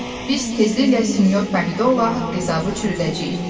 Biz tezliklə sinyor Pomidorla haqq-hesabı çürüdəcəyik.